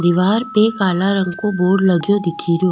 दिवार पे काला रंग को बोर्ड लगयो दिखे रो।